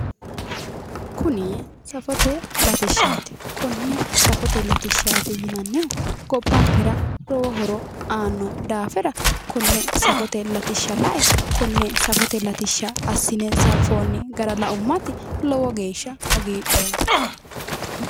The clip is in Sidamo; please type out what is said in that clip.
Kuni safote latishaati konne safote latishaati yinannihu gobbankera lowo horo aanno daafira konne safote latisha la'e konne safote latisha assine hananfoonni gara la'ummati lowo geesha hagiidhoomma